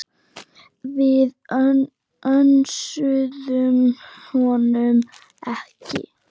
Við önsuðum honum ekki.